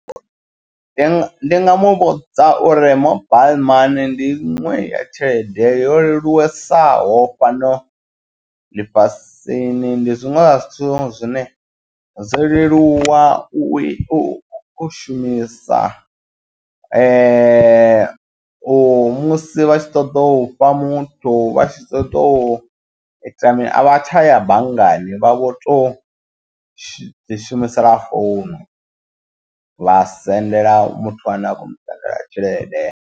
Ndi nga ndi nga muvhudza uri mobile money ndi inwe ya tshelede yo leluwa tsesaho fhano ḽifhasini ndi zwiṅwe zwa zwithu zwine zwo leluwa u shumisa u musi vhatshi ṱoḓa ufha muthu vha tshi ṱoḓa u ita mini avha tsha ya banngani vha vho tou ḓi shumisela founu vha sendela muthu ane a khomu takalela tshelede.